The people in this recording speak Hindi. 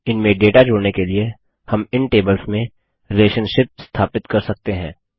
इनमें डेटा जोड़ने के लिए हम इन टेबल्स में रिलेशनशिपसंबंध स्थापित कर सकते हैं